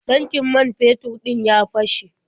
Tankin man fetur ɗin ya fashe.